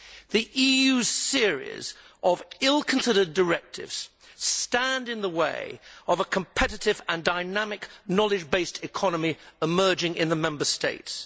The EU's series of ill considered directives stand in the way of a competitive and dynamic knowledge based economy emerging in the Member States.